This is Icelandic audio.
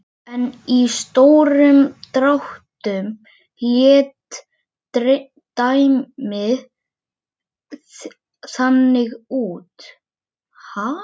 En í stórum dráttum leit dæmið þannig út